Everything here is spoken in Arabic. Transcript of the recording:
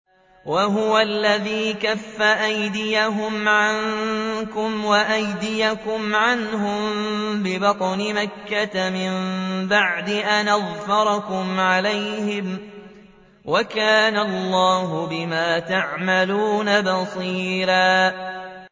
وَهُوَ الَّذِي كَفَّ أَيْدِيَهُمْ عَنكُمْ وَأَيْدِيَكُمْ عَنْهُم بِبَطْنِ مَكَّةَ مِن بَعْدِ أَنْ أَظْفَرَكُمْ عَلَيْهِمْ ۚ وَكَانَ اللَّهُ بِمَا تَعْمَلُونَ بَصِيرًا